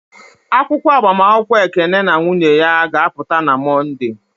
Akwụkwọ agbamakwụkwọ Ekene na nwunye ya ga-apụta na Mọnde.